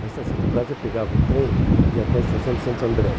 Na Estação do Brás, eu pegava o trem e ia até a Estação de Santo André.